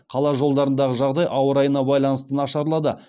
қала жолдарындағы жағдай ауа райына байланысты нашарлады